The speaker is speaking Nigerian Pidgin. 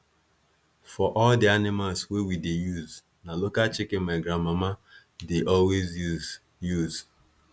for all the animals wey we dey use na local chicken my grandmama dey always use use